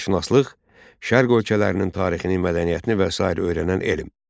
Şərqşünaslıq şərq ölkələrinin tarixini, mədəniyyətini və sair öyrənən elm.